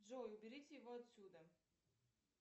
джой уберите его отсюда